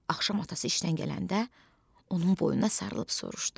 Axşam atası işdən gələndə onun boynuna sarılıb soruşdu: